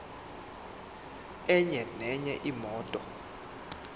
enye nenye imoto